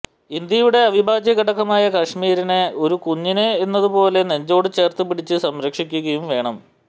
ഇന്ത്യയുടെ അവിഭാജ്യ ഘടകമായ കാശ്മീരിനെ ഒരു കുഞ്ഞിനെ എന്നതുപോലെ നെഞ്ചോട് ചേർത്ത് പിടിച്ച് സംരക്ഷിക്കുകയും വേണം